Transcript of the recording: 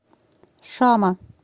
шама